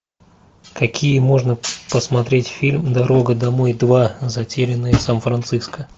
какие можно посмотреть фильм дорога домой два затерянные в сан франциско